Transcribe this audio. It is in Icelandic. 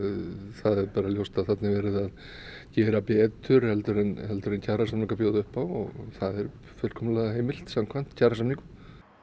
það er bara ljóst að þarna er verið að gera betur heldur en heldur en kjarasamningar bjóða upp á og það er fullkomlega heimilt samkvæmt kjarasamningum